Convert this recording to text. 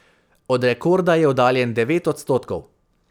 Od rekorda je oddaljen devet odstotkov.